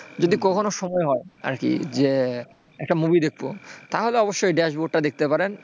যদি কখনো সময় হয় আর কি যে, একটা movie দেখব তাহলে অবশ্যই ড্যাশবোর্ডে দেখতে পারেন,